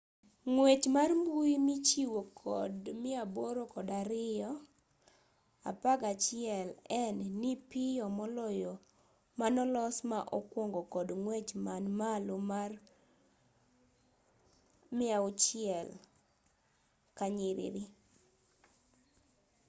ng'wech mar mbui michiwo kod 802.11n ni piyo moloyo manolos ma okwongo kod ng'wech man malo mar 600mbits/s